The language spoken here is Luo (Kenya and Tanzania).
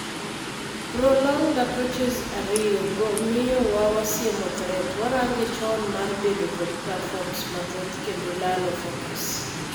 Pronged approaches ariyo go miyo wa wasiemo threat, warange chon, mar bedo kod platforms mathoth kendo lalo focus.